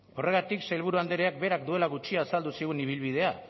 horregatik sailburu andreak berak duela gutxi azaldu zigun ibilbidea